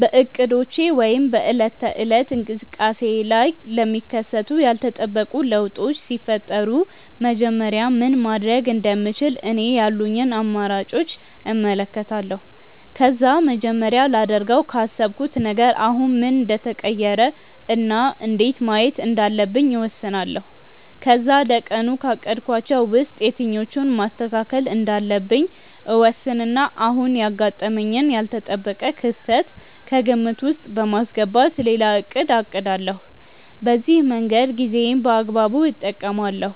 በእቅዶቼ ወይም በዕለት ተዕለት እንቅስቃሴዬ ላይ ለሚከሰቱ ያልተጠበቁ ለውጦች ሲፈጠሩ መጀመሪያ ምን ማድረግ እንደምችል እኔ ያሉኝን አማራጮች እመለከታለሁ። ከዛ መጀመሪያ ላደርገው ካሰብኩት ነገር አሁን ምን እንደተቀየረ እና እንዴት ማየት እንዳለብኝ እወስናለሁ። ከዛ ለቀኑ ካቀድኳቸው ውስጥ የትኞቹን ማስተካከል እንዳለብኝ እወስንና አሁን ያጋጠመኝን ያልተጠበቀ ክስተት ከግምት ውስጥ በማስገባት ሌላ እቅድ አቅዳለሁ። በዚህ መንገድ ጊዜዬን በአግባቡ እጠቀማለሁ፤